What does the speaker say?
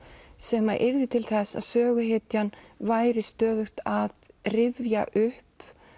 sem yrði til þess að söguhetjan yrði stöðugt að rifja upp